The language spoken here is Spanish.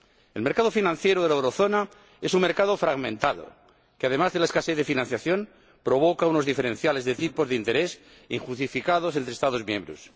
El mercado financiero de la zona del euro es un mercado fragmentado que, además de la escasez de financiación, provoca unos diferenciales de tipos de interés injustificados entre Estados miembros.